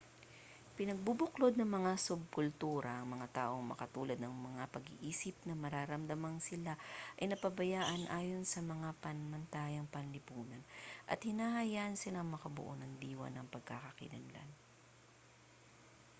pinagbubuklod ng mga subkultura ang mga taong magkatulad ang mga pag-iisip na nararamdamang sila ay napapabayaan ayon sa mga pamantayang panlipunan at hinahayaan silang makabuo ng diwa ng pagkakakilanlan